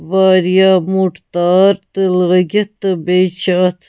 .واریاہ موٚٹ تارتہِ لٲگِتھ تہٕ بیٚیہِ چھ اَتھ